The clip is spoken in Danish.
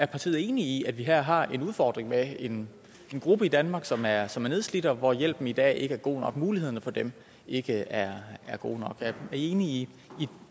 partiet er enig i at vi her har en udfordring med en gruppe i danmark som er som er nedslidte og hvor hjælpen i dag ikke er god nok mulighederne for dem ikke er gode nok er i enige